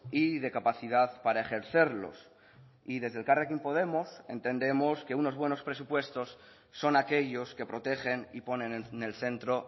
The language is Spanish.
y de capacidad para ejercerlos y desde elkarrekin podemos entendemos que unos buenos presupuestos son aquellos que protegen y ponen en el centro